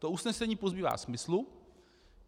To usnesení pozbývá smyslu.